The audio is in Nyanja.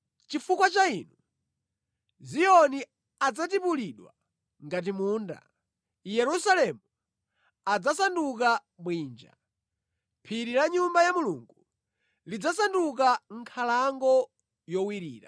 Choncho chifukwa cha inu, Ziyoni adzatipulidwa ngati munda, Yerusalemu adzasanduka bwinja, ndipo phiri la Nyumba ya Mulungu lidzasanduka nkhalango yowirira.